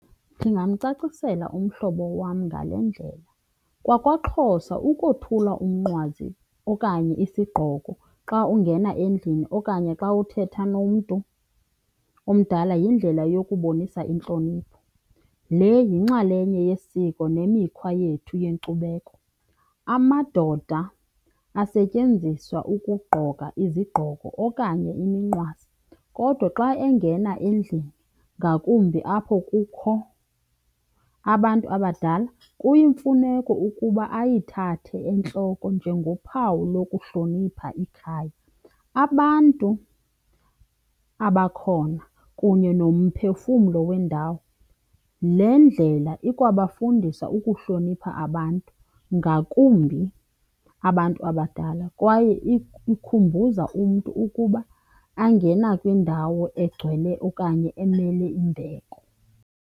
Ndingamcacisela umhlobo wam ngale ndlela, kwakwaXhosa ukothula umnqwazi okanye isigqoko xa ungena endlini okanye xa uthetha nomntu omdala yindlela yokubonisa intlonipho. Le yinxalenye yesiko nemikhwa yethu yenkcubeko. Amadoda asetyenziswa ukungqoka izigqoko okanye iminqwazi kodwa xa engena endlini, ngakumbi apho kukho abantu abadala, kuyimfuneko ukuba ayithathe entloko njengophawu lokuhlonipha ikhaya, abantu abakhona kunye nomphefumlo wendawo. Le ndlela ikwafundisa ukuhlonipha abantu, ngakumbi abantu abadala, kwaye ikhumbuza umntu ukuba ungena kwindawo egcwele okanye emele imbeko.